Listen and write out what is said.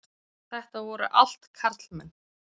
Þetta voru allt karlmenn.